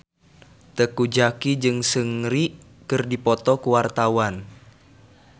Teuku Zacky jeung Seungri keur dipoto ku wartawan